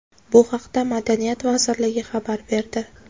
Bu haqda Madaniyat vazirligi xabar berdi .